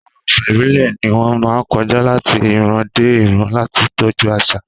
Àwọn àṣà ìbílẹ̀ ni wọ́n máa ń kọjá láti ìran dé ìran láti tọ́jú àṣà.